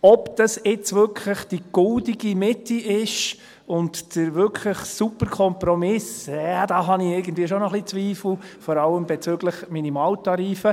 Ob das jetzt wirklich die goldene Mitte ist und wirklich der Super-Kompromiss, ja, da habe ich irgendwie schon noch ein wenig Zweifel, vor allem bezüglich der Minimaltarife.